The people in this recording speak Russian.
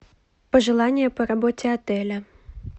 пожелания по работе отеля